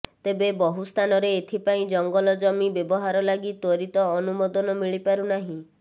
ତେବେ ବହୁ ସ୍ଥାନରେ ଏଥିପାଇଁ ଜଙ୍ଗଲଜମି ବ୍ୟବହାର ଲାଗି ତ୍ୱରିତ ଅନୁମୋଦନ ମିଳିପାରୁନାହିଁ